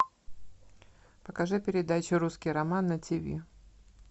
покажи передачу русский роман на тв